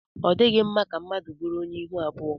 Ọ dịghị mma ka mmadụ bụrụ onye ihu abụọ.